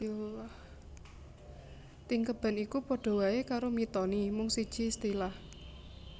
Tingkeban iku padha waé karo Mitoni mung sejé istilah